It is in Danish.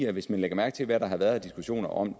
hvis man lægger mærke til hvad der har været af diskussioner om